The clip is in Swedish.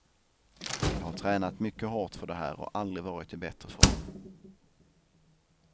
Jag har tränat mycket hårt för det här och aldrig varit i bättre form.